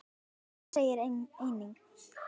Jón segir einnig